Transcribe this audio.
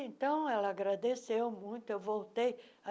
Então, ela agradeceu muito, eu voltei.